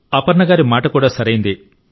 అపర్ణ గారి మాట కూడా సరైందే